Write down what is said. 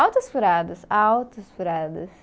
Altas furadas, altas furadas.